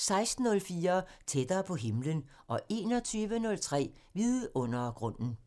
16:04: Tættere på himlen 21:03: Vidundergrunden